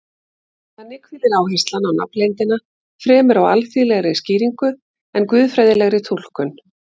Þannig hvílir áherslan á nafnleyndina fremur á alþýðlegri skýringu en guðfræðilegri túlkun.